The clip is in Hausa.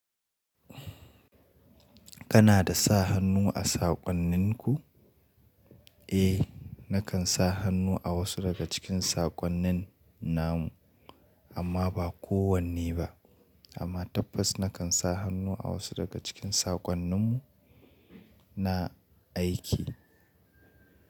Kana da sa hannu a saƙonninku? Eh, nakan sa hannu a wasu daga cikin saƙonnin namu amma ba kowanne ba. Amma tabbas nakan sa hannu a wasu daga cikin saƙonnin mu na aiki.